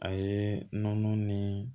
A ye nɔnɔ ni